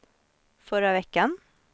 förra veckan